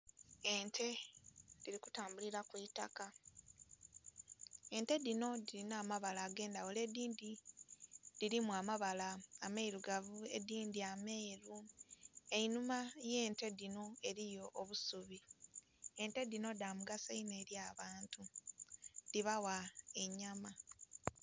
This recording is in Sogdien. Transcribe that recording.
Ente dhili kutambulila mwitaka, ente dhino dhilina amabala age ndhaghulo edindhi dhilimu amabala ameirugavu edindhi ameeru. Einhuma ghe nte dhino eriyo obusubi, ente dhino dha mugaso inho eri abantu dhibagha enyama.